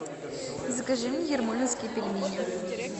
закажи мне ермолинские пельмени